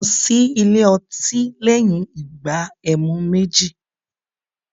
Mò ń lọ sí ilé otí lẹ́yìn ìgbà ẹmu méjì